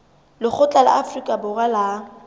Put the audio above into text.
lekgotla la afrika borwa la